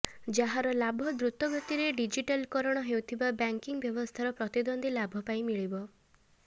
ଯାହାର ଲାଭ ଦ୍ରୁତଗତିରେ ଡିଜିଟାଲକରଣ ହେଉଥିବା ବ୍ୟାଙ୍କିଙ୍ଗ ବ୍ୟବସ୍ଥାରେ ପ୍ରତିଦ୍ୱନ୍ଦ୍ୱୀ ଲାଭ ପାଇଁ ମିଳିପାରିବ